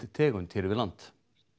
tegund hér við land